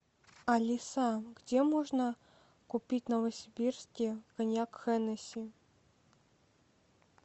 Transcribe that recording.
алиса где можно купить в новосибирске коньяк хеннеси